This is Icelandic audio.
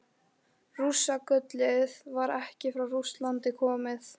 Rússagullið var ekki frá Rússlandi komið.